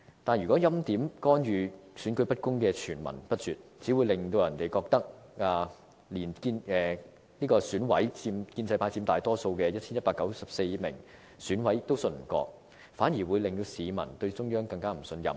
但是，如果欽點、干預、選舉不公的傳聞不絕，只會令人覺得中央連建制派佔大多數的 1,194 名選委也不信任，反而令市民對中央更不信任。